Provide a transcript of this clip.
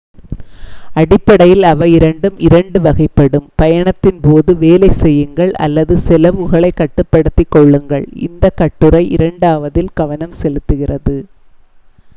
அடிப்படையில் அவை இரண்டு 2 வகைப்படும்: பயணத்தின் போது வேலை செய்யுங்கள் அல்லது செலவுகளைக் கட்டுப்படுத்திக் கொள்ளுங்கள். இந்த கட்டுரை இரண்டாவதில் கவனம் செலுத்துகிறது